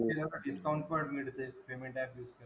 Discount पण मिळते payment app use केल्यावर.